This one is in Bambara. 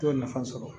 To ye nafa sɔrɔ